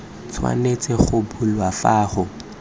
tshwanetse go bulwa fa go